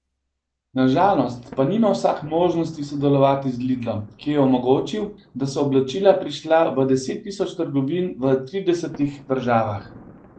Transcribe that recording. Na žalost pa nima vsak možnosti sodelovati z Lidlom, ki je omogočil, da so oblačila prišla v deset tisoč trgovin v tridesetih državah.